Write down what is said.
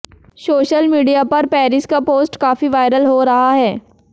social media पर Paris का post काफी वायरल हो रहा हैं